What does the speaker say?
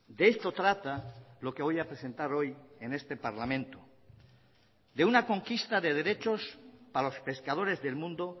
de esto trata lo que voy a presentar hoy en este parlamento de una conquista de derechos para los pescadores del mundo